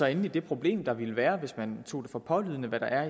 endelig det problem der ville være hvis man tog for pålydende hvad der